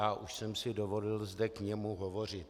A už jsem si dovolil zde k němu hovořit.